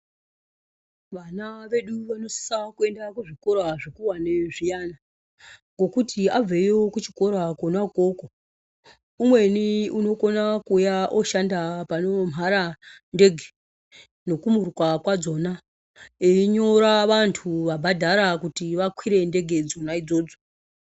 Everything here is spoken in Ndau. Vana vedu vanosisa kuenda kuzvikora zvikuwani zviyani ngokuti abveyo kuchikora kona ukoko, umweni unokona kuuya ooshanda panomhara ndege nokumuruka kwadzona einyora vantu vabhadhara kuti vakwire ndege dzona idzodzo.